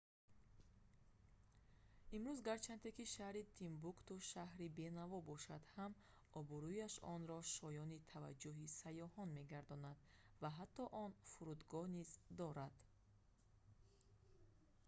имрӯз гарчанде ки шаҳри тимбукту шарҳри бенаво бошад ҳам обрӯяш онро шоёни таваҷҷӯҳи сайёҳон мегардонад ва ҳатто он фурудгоҳ низ дорад